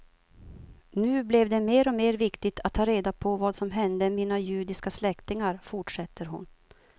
Nu blev det mer och mer viktigt att ta reda på vad som hände mina judiska släktingar, fortsätter hon.